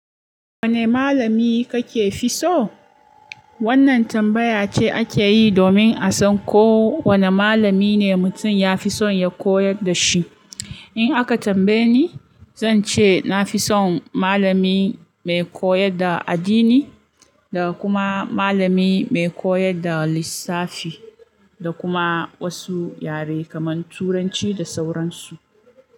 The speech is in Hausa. Wane malami kake fi so? Wannan tambaya ce ake yi domin a san ko wane malami ne mutum ya fi so ya koyar da shi. In aka tambaye ni, zan ce na fi son malami mai koyar da addini da kuma malami mai koyar da lissafi da kuma wasu yare kamar Turanci da sauran su.